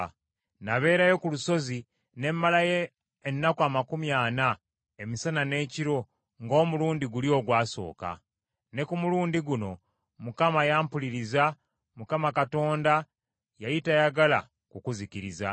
Nabeerayo ku lusozi ne mmalayo ennaku amakumi ana, emisana n’ekiro, ng’omulundi guli ogwasooka. Ne ku mulundi guno Mukama yampuliriza. Mukama Katonda yali tayagala kukuzikiriza.